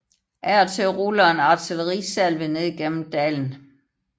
Af og til ruller en artillerisalve ned gennem dalen